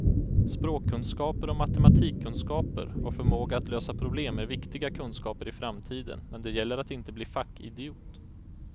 Språkkunskaper och matematikkunskaper och förmåga att lösa problem är viktiga kunskaper i framtiden, men det gäller att inte bli fackidiot.